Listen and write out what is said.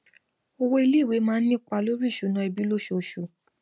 owó iléìwé máa ń nípa lórí ìṣúná ẹbí lóṣooṣù